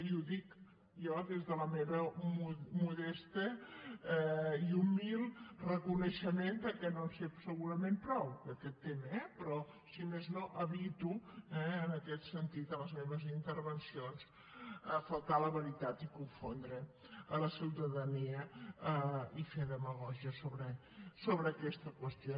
i ho dic jo des del meu modest i humil reconeixement que no en sé segurament prou d’aquest tema eh però si més no evito en aquest sentit en les meves intervencions faltar a la veritat i confondre la ciutadania i fer demagògia sobre aquesta qüestió